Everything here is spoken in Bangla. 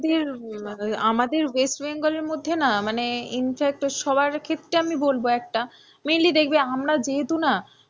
আমাদের উম west bengal মধ্যে না মানে infact সবার ক্ষেত্রে আমি বলবো একটা mainly দেখবে আমরা যেহেতু না,